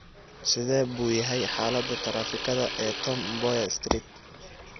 Sidee buu yahay xaalada taraafikada ee Tom Mboya Street?